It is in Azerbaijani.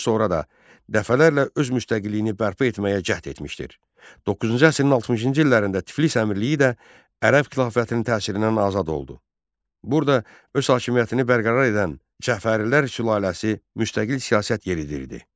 Burada öz hakimiyyətini bərqərar edən Cəfərilər sülaləsi müstəqil siyasət yeridirdi.